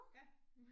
Ja